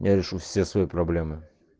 я решу все свои проблемы